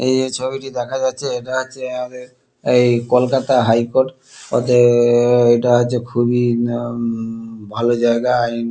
এই যে ছবিটি দেখা যাচ্ছে এটা হচ্ছে কলকাতা হাই কোর্ট ওতে আ- এটা হচ্ছে খুবই ভালো জায়গা। আইন।